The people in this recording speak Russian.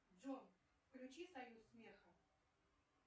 джой включи союз смеха